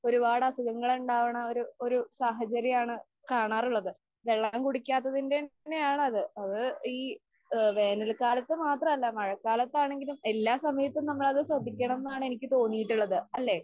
ഒരുപാട് അസുഖങ്ങൾ ഉണ്ടാവണ ഒരു ഒരു സാഹചര്യം ആണ് കാണാറുള്ളത്. വെള്ളം കുടിക്കാത്തതിന്റെ തന്നെ ആണ് അത്. അത് ഈ ആ വേനൽക്കാലത്ത് മാത്രമല്ല മഴക്കാലത്ത് ആണെങ്കിലും എല്ലാ സമയത്തും നമ്മൾ അത് ശ്രദ്ധിക്കണം എന്നാണ് എനിക്ക് തോന്നിയിട്ടുള്ളത്. അല്ലേ?